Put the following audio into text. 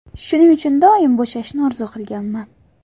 Shuning uchun doim bo‘shashni orzu qilganman.